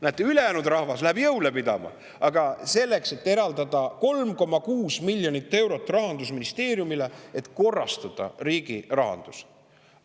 Näete, ülejäänud rahvas läheb jõule pidama, aga Rahandusministeeriumile tuleb eraldada 3,6 miljonit eurot, selleks et korrastada riigi rahandus.